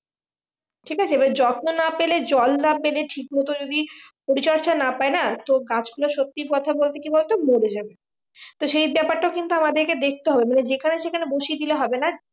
ঠিক আছে এবার যত্ন না পেলে জল না পেলে ঠিক মতো যদি পরিচর্যা না পাই না তো গাছ গুলো সত্যি কথা বলতে কি বলত মরে যাবে তা সেই ব্যাপারটা কিন্তু আমাদেরকে দেখতে হবে মানে যেখানে সেখানে বসিয়ে দিলে হবে না